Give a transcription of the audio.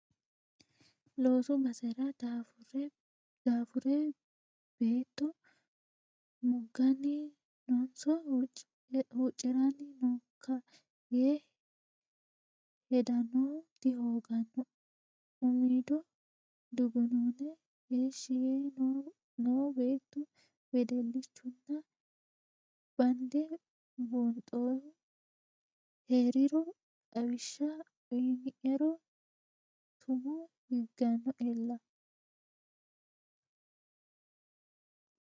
Loosu basera daafure beetto muganni noonso huucciranni nookka yee hedanohu dihoogano umido dugunune heeshshi yee no beettu wedellichunna bande buunxohu heeriro xawishsha uuyiniro tumo higanolla.